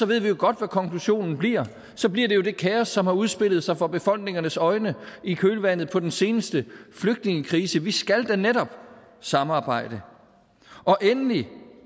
ved vi jo godt hvad konklusionen bliver så bliver det jo det kaos som har udspillet sig for befolkningernes øjne i kølvandet på den seneste flygtningekrise så vi skal da netop samarbejde endelig